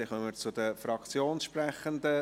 Somit kommen wir zu den Fraktionssprechenden;